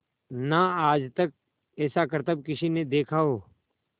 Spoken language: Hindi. ना आज तक ऐसा करतब किसी ने देखा हो